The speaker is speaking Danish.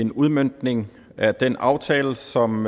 en udmøntning af den aftale som